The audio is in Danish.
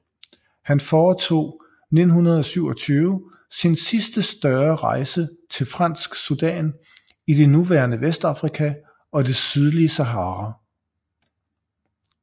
Han foretog 1927 sin sidste større rejse til Fransk Sudan i det nuværende Vestafrika og det sydlige Sahara